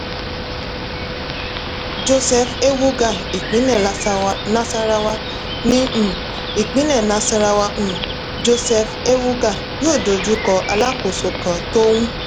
joseph ewuga ìpínlẹ̀ nasarawa ní um ìpínlẹ̀ nasarawa um joseph ewuga yóò dojú kọ alákòóso kan tó ń